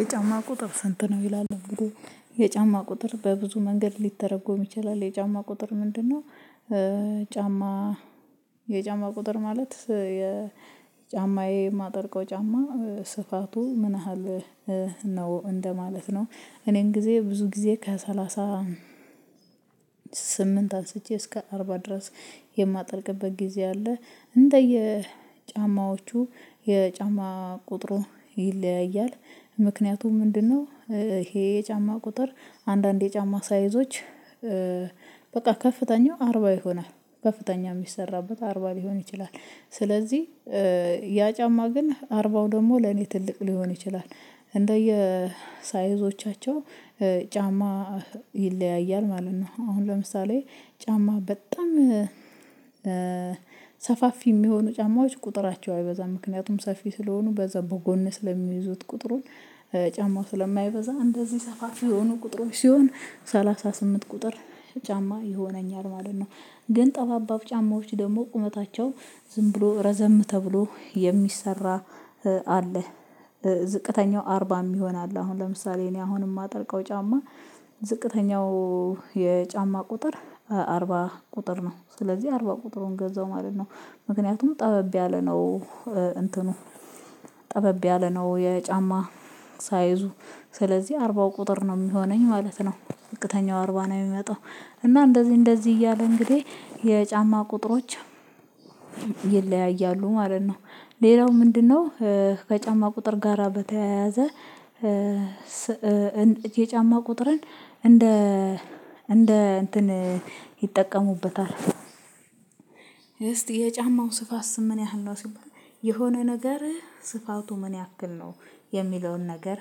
የጫማ ቁጥር ስንት ነው ይላል ብሎ የጫማ ቁጥር በብዙ መንገድ ሊተረጎም ይችላል የጫማ ቁጥር ምንድነው? ጫማ የጫማ ቁጥር ማለት የጫማዬ የማጠርቀው ጫማ ስፋቱ ምን ያህል ነው እንደማለት ነው። እኔን ጊዜ ብዙ ጊዜ ከሰላሳ ስምንት አንስቼ እስከ አርባ ድረስ የማደርግበት ጊዜ አለ እንደየ ጫማዎቹ የጫማ ቁጥሩን ይለያያል ምክንያቱም ምንድነው ይሄ የጫማ ቁጥር አንዳንድ የጫማ ሳይዞች በቃ ከፍተኛው አርባ ይሆናል ከፍተኛ የሚሰራበት አርባ ሊሆን ይችላል ስለዚህ ያ ጫማ ግን አርባው ደግሞ ለኔ ትልቅ ሊሆን ይችላል እንደየ ሳይዞቻቸው ጫማ ይለያያል ማለት ነው። አሁን ለምሳሌ ጫማ በጣም ሰፋፊ የሚሆኑ ጫማዎች ቁጥራቸው በዛ ምክንያቱም ሰፊ ስለሆኑ በዛ በጎን ስለሚይዙት ቁጥሩን ጫማው ስለማይበዛ እንደዚህ ሰፋፊ የሆኑ ቁጥሮች ሲሆን ሰላሳ ስምንት ቁጥር ጫማ ይሆነኛል ማለት ነው። ግን ጠባባብ ጫማዎች ደግሞ ቁመታቸው ዝም ብሎ ረዘም ተብሎ የሚሰራ አለ ዝቅተኛው አርባም ይሆናል አሁን ለምሳሌ እኔ አሁን የማጠልቀው ጫማ ዝቅተኛው የጫማ ቁጥር አርባ ቁጥር ነው ስለዚህ አርባ ቁጥሩን ገዛው ማለት ነው። ምክንያቱም ጠበብ ያለ ነው እንትኑ ጠበብ ያለ ነው የጫማ ሳይዙ ስለዚህ አርባ ቁጥር ነው የሚሆነኝ ማለት ነው። ዦቅተኛው አርባ ነው የሚመጣው እና እንደዚህ እንደዚህ እያሉ እንግዲህ የጫማ ቁጥሮች ይለያያሉ ማለት ነው። ሌላው ምንድነው? ከጫማ ቁጥር ጋራ በተያያዘ የጫማ ቁጥርን እንደ እንደ እንትን ይጠቀሙበታል። እስቲ የጫማው ስፋት ስምን ያህል ነው ሲሆን የሆነ ነገር ስፋቱ ምን ያክል ነው? የሚለውን ነገር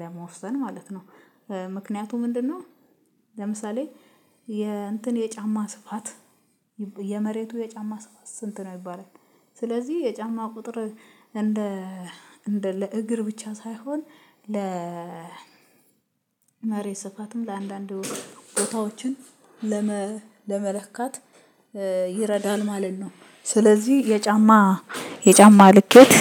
ለመወሰን ማለት ነው። ምክንያቱ ምንድነው? ለምሳሌ የእንትን የጫማ ስፋት የመሬቱ የጫማ ስፋት ስንት ነው የሚባለው? ስለዚህ የጫማ ቁጥር እንደ እንደ ለእግር ብቻ ሳይሆን ለ መሬት ስፋትም ለአንዳንድ ቦታዎችን ለመለካት ይረዳል ማለት ነው። ስለዚህ የጫማ የጫማ ልኬት